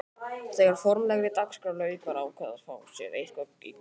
Þegar formlegri dagskrá lauk var ákveðið að fá sér eitthvað í gogginn.